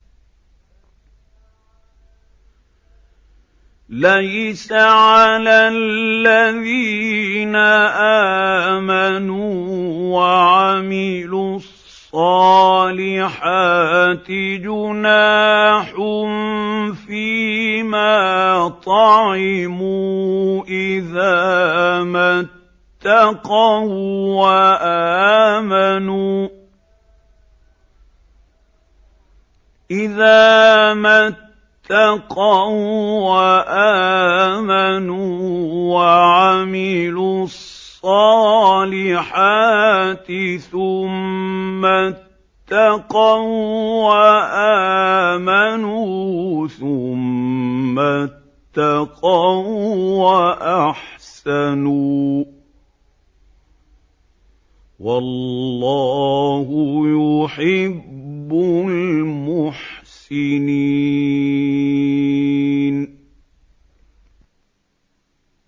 لَيْسَ عَلَى الَّذِينَ آمَنُوا وَعَمِلُوا الصَّالِحَاتِ جُنَاحٌ فِيمَا طَعِمُوا إِذَا مَا اتَّقَوا وَّآمَنُوا وَعَمِلُوا الصَّالِحَاتِ ثُمَّ اتَّقَوا وَّآمَنُوا ثُمَّ اتَّقَوا وَّأَحْسَنُوا ۗ وَاللَّهُ يُحِبُّ الْمُحْسِنِينَ